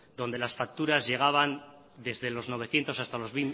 donde las facturas llegaban desde los novecientos hasta los